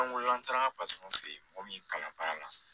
an taara paseke mɔgɔ min kalan baara la